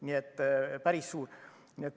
Nii et päris suur.